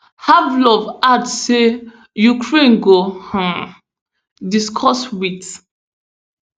harvylov add say ukraine go um discuss wit